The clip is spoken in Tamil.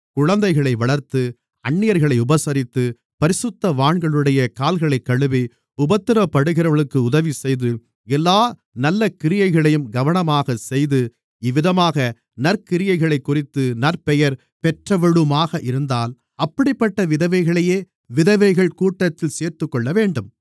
குழந்தைகளை வளர்த்து அந்நியர்களை உபசரித்து பரிசுத்தவான்களுடைய கால்களைக்கழுவி உபத்திரவப்படுகிறவர்களுக்கு உதவிசெய்து எல்லா நல்லகிரியைகளையும் கவனமாக செய்து இவ்விதமாக நற்கிரியைகளைக்குறித்து நற்பெயர் பெற்றவளுமாக இருந்தால் அப்படிப்பட்ட விதவைகளையே விதவைகள் கூட்டத்தில் சேர்த்துக்கொள்ளவேண்டும்